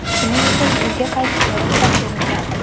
Shuning uchun uyga qaytishga ruxsat berilgan.